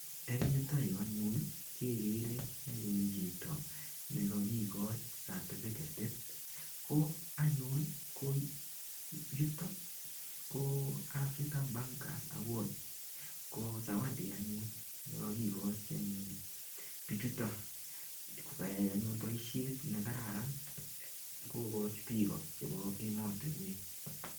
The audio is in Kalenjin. Eng yutoyu anyun kekere anyun chito nikakikoch certifiketit ko anyun ko yuto ko African bankers award ko sawadi anyun nekakikoch bichuto kokakyai anyun boishet nekararan kokoch biko chebo emotunwek.